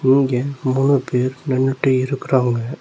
இங்க மூணு பேர் நின்னுட்டு இருக்குறாங்க.